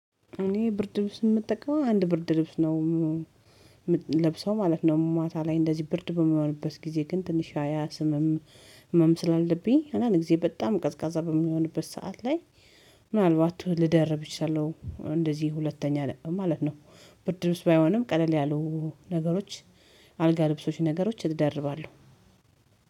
እኔ ብርድ ልብስ የምጠቀመው አንድ ብርድ ልብስ ነው የምለብሰው ማለት ነው። ማታ ላይ እንደዚህ ብርድ በመሆንበት ጊዜ ግን ትንሽ ያ አስምም ህመም ስላለብኝ አንዳንድ ጊዜ በጣም ቀዝቃዛ በሚሆንበት ሰዓት ላይ። ምናልባት ልደርብ እችለለሁ እንደዚህ ሁለተኛ ማለት ነው። ብርድ ልብስ ባይሆንም ቀለል ያሉ ነገሮች አልጋ ልብሶች ነገሮች እደርባለሁ።